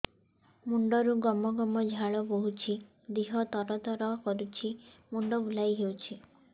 ମୁଣ୍ଡରୁ ଗମ ଗମ ଝାଳ ବହୁଛି ଦିହ ତର ତର କରୁଛି ମୁଣ୍ଡ ବୁଲାଇ ଦେଉଛି